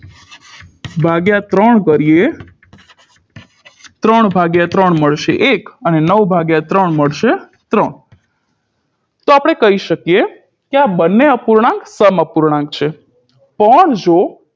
ભાગ્યા ત્રણ કરીએ ત્રણ ભાગ્યા ત્રણ મળશે એક અને નવ ભાગ્યા ત્રણ મળશે ત્રણ તો આપણે કહી શકીએ કે આ બને અપૂર્ણાંક સમઅપૂર્ણાંક છે પણ જો